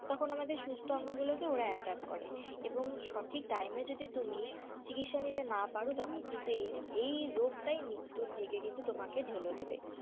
তখন আমাদের সুস্থ অঙ্গ গুলোকে ওরা attack করে এবং সঠিক time এ যদি তুমি চিকিৎসা নিতে না পারো তখন কিন্তু এই এই রোগটাই মৃত্যুর দিকে কিন্তু তোমাকে ঢেলে দেবে।